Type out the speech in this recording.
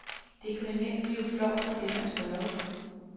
Det kunne nemt blive flovt for dem at spørge.